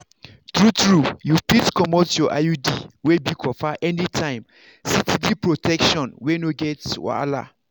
true-true you fit comot your iud wey be copper anytime steady protection wey no get wahala.